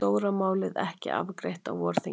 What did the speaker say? Stóra málið ekki afgreitt á vorþingi